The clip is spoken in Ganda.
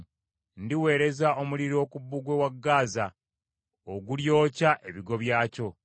Ndiweereza omuliro ku bbugwe wa Gaza ogulyokya ebigo byakyo.